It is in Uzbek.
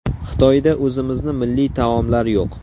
Xitoyda o‘zimizni milliy taomlar yo‘q.